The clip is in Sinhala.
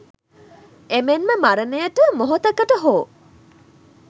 එමෙන්ම මරණයට මොහොතකට හෝ